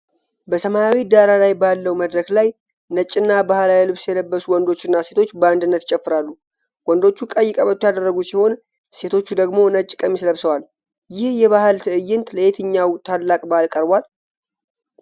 በሰማያዊ ዳራ ላይ ባለው መድረክ ላይ ነጭና ባህላዊ ልብስ የለበሱ ወንዶችና ሴቶች በአንድነት ይጨፍራሉ። ወንዶቹ ቀይ ቀበቶ ያደረጉ ሲሆን፣ ሴቶቹ ደግሞ ነጭ ቀሚስ ለብሰዋል። ይህ የባህል ትዕይንት ለየትኛው ታላቅ በዓል ቀርቧል?